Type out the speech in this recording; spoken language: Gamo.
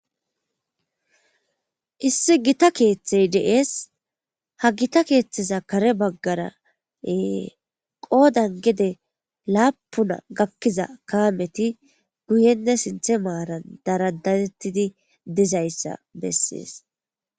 Issi gita keeththey de7ees ha gita keeththeza kare baggaraee qoodan gede laapuna gakkiza kaameti guyenne sinthe maaran daradatettidi dizayssa bessees